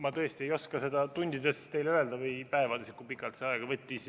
Ma tõesti ei oska teile öelda tundides või päevades, kui pikalt see aega võttis.